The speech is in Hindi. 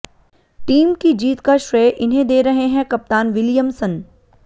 टीम की जीत का श्रेय इन्हें दे रहे हैं कप्तान विलियमसन